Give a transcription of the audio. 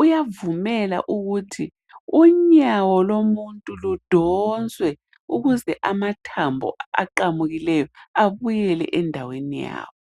uyavumela ukuthi unyawo lomuntu ludonswe ukuze amathambo ayephukileyo abuyele endaweni yawo